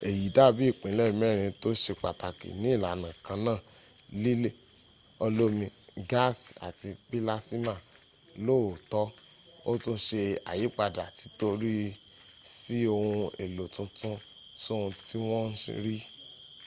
èyí dàbí ìpínlẹ̀ mẹ́rin tó se pàtàkì ní ìlànà kanáà: líle olómi gáàsì àti pílásíma lóòótọ́ ó tún se àyípadà tíọ́rì sí ohun èlò tuntun sóhun tí wọ́n ń rí